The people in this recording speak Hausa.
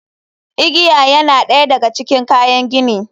Igiya yana ɗaya daga cikin kayan gini.